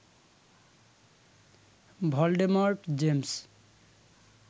Voldemort James